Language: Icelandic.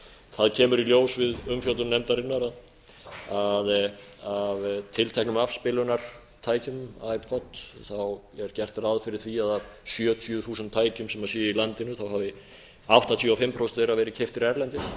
það kemur í ljós við umfjöllun nefndarinnar að tilteknum afspilunartækjum ipod er gert ráð fyrir að af sjötíu þúsund tækjum sem séu í landinu hafi áttatíu og fimm prósent þeirra verið keyptir erlendis þannig